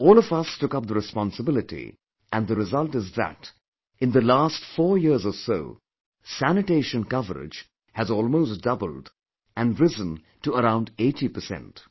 All of us took up the responsibility and the result is that in the last four years or so, sanitation coverage has almost doubled and risen to around 80 percent